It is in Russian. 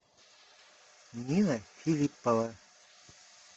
нина филиппова